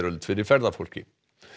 fyrir ferðafólki